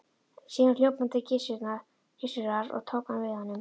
Síðan hljóp hann til Gissurar og tók hann við honum.